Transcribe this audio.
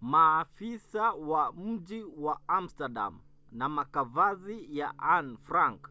maafisa wa mji wa amsterdam na makavazi ya anne frank